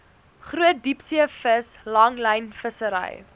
groot diepseevis langlynvissery